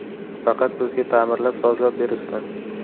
Faqat bizga ta’mirlab, sozlab berishsin.